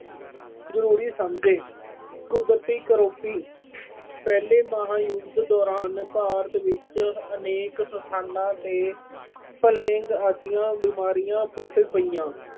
ਜ਼ਰੂਰੀ ਸਮਝੇ। ਕੁਦਰਤੀ ਕਰੋਪੀ-ਪਹਿਲੇ ਮਹਾਯੁਧ ਦੌਰਾਨ ਭਾਰਤ ਵਿੱਚ ਅਨੇਕ ਸਥਾਨਾਂ ਤੇ plague ਆਦਿ ਬਿਮਾਰੀਆਂ ਫੁੱਟ ਪਈਆਂ।